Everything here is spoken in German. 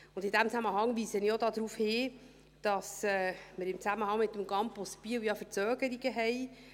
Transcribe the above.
In diesem Zusammenhang weise ich auch darauf hin, dass wir im Zusammenhang mit dem Campus Biel ja Verzögerungen haben.